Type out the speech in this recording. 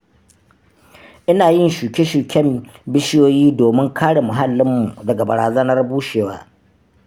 Ina yin shuke-shuken bishiyoyi domin kare muhallinmu daga barazanar bushewa.